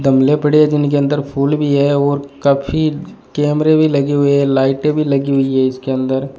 गमले पड़े हैं जिनके अंदर फूल भी है और काफी कैमरे भी लगे हुए है लाइटें भी लगी हुई है इसके अंदर।